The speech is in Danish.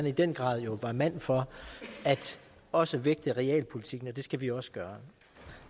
i den grad var mand for også at vægte realpolitikken og det skal vi også gøre